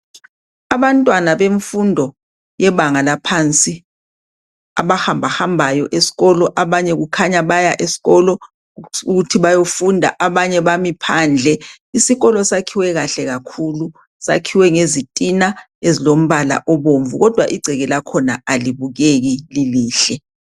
Abantwana bemfundo yebanga laphansi abahambahambayo esikolo, abanye kukhanya baya esikolo ukuthi bayofunda abanye bami phandle. Isikolo sakhiwe kahle kakhulu, sakhiwe ngezitina ezilombala obomvu kodwa igceke lakhona alibukeki lilihle.